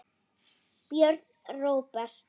Björn Róbert.